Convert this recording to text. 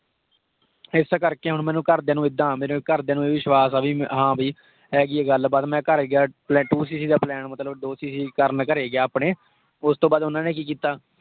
ਇਸ ਕਰ ਕੇ ਹੁਣ ਮੇਰੇ ਘਰ ਦਿਆਂ ਨੂੰ ਇੱਦਾਂ ਆ, ਮੇਰੇ ਘਰ ਦਿਆਂ ਨੂੰ ਵਿਸ਼ਵਾਸ ਆ ਬਈ, ਹਾਂ ਭੀ ਹੈਗੀ ਆ ਗੱਲ ਬਾਤ। ਮੈਂ ਘਰ ਗਿਆ, ਪਹਿਲਾਂ two cc ਦਾ plan ਮਤਲਬ ਦੋ cc ਕਰਨ ਘਰੇ ਗਿਆ ਅਪਣੇ। ਉਸਤੋਂ ਬਾਅਦ ਉਹਨਾਂ ਨੇ ਕਿ ਕੀਤਾ?